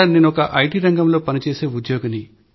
నేను ఐటీ రంగంలో పని చేసే ఉద్యోగిని